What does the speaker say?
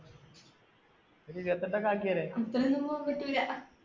ഒരു ഇരുപത്തിയെട്ടു ആക്കിയൊരു, അത്രയൊന്നും പോകാൻ പറ്റൂല.